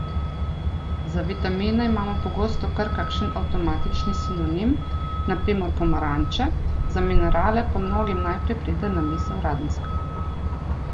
Za vitamine imamo pogosto kar kakšen avtomatični sinonim, na primer pomaranče, za minerale pa mnogim najprej pride na misel radenska.